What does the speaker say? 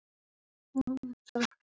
Kæra vina, sjáumst síðar.